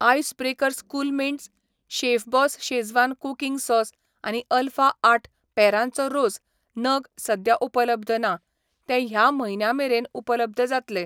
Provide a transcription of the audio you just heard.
Ice breakers cool mints, chef boss schezwan cooking sauce आनी alpha आठ पेरांचो रोस नग सद्या उपलब्ध ना, ते ह्या म्हयन्या मेरेन उपलब्ध जातले.